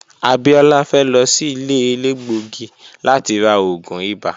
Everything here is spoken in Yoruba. Abiola fe lo si ile elegbogi lati ra oogun ibà.